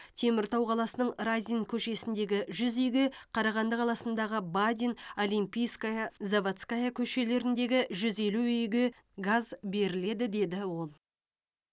теміртау қаласының разин көшесіндегі жүз үйге қарағанды қаласындағы бадин олимпийская заводская көшелеріндегі жүз елу үйге газ беріледі деді ол